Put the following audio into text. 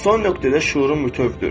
Son nöqtədə şüurun bütövdür.